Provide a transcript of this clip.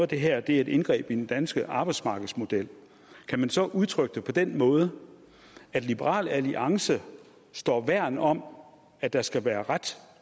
det her er et indgreb i den danske arbejdsmarkedsmodel kan man så udtrykke det på den måde at liberal alliance står værn om at der skal være ret